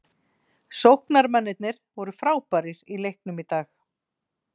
Sóknarmennirnir voru frábærir í leiknum í dag.